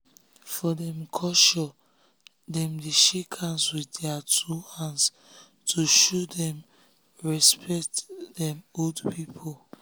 for dem culturedem dey shake hands with their two hands to show say dem respect dem old people.